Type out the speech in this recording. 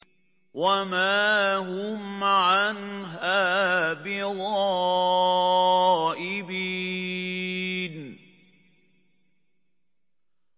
وَمَا هُمْ عَنْهَا بِغَائِبِينَ